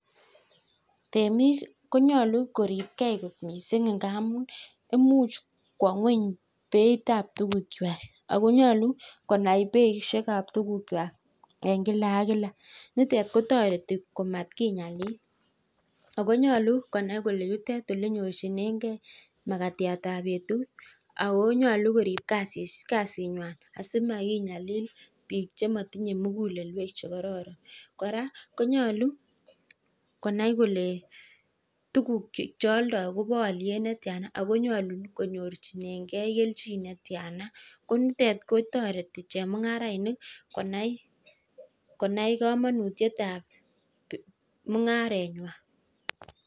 Temik konyolu koriptokei kot mising' ngaamun imuuch kwo ng'weny mising' beitab tukuchwai ako nyolu konai beishekab tukuchwai eng' kila ak kila nitet kotoreti komakinyalil ako nyolu konai kole yutet ole nyorchinengei makatiatab betut ako nyolu korip kasinywai asimakinyalil biik chematinye mukulelwek chekororon kora konyolu konai kole tukuk cheoldoi kobo oliet netyana ako nyolu konyorchinengei kelchin netyana ko nitet kotoreti chemung'arainik konai kamanutiyetab mung'arenywai